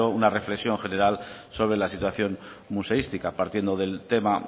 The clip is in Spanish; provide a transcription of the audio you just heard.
una reflexión general sobre la situación museística partiendo del tema